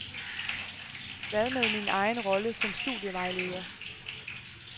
Hvad med min egen rolle som studievejleder.